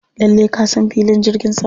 Lallai ka san filin jirgin sama.